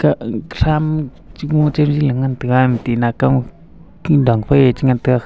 ag tham chi ngo chali e ngan taga ema tina kam king dangfai che ngantaga khn--